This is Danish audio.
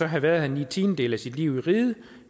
have været i ni tiendedele af sit liv i riget